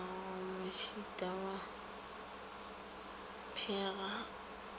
motšila wa pheega e be